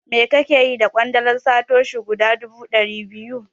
Me kake yi da ƙwandalar Satoshi guda dubu ɗari biyu?